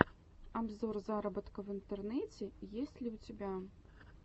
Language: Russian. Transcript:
обзор заработка в интернете есть ли у тебя